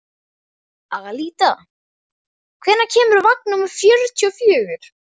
Alida, hvenær kemur vagn númer fjörutíu og fjögur?